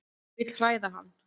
Vil hræða hann.